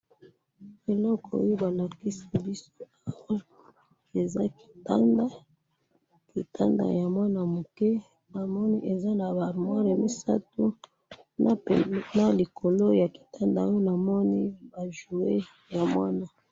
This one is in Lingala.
eloko oyo balakisi biso awa eza kitanda ,kitanda ya mwana muke namoni eza naba armoir misatu, na peignoir likolo ya kitanda oyo namoni ba jouet ya mwana.